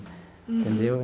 Entendeu?